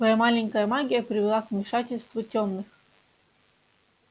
твоя маленькая магия привела к вмешательству тёмных